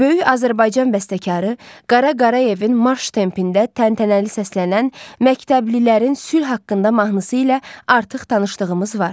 Böyük Azərbaycan bəstəkarı Qara Qarayevin marş tempində təntənəli səslənən məktəblilərin sülh haqqında mahnısı ilə artıq tanışdığımız var.